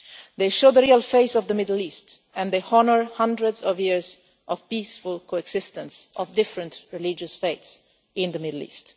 They show the real face of the Middle East and they honour hundreds of years of peaceful coexistence of different religious faiths in the Middle East.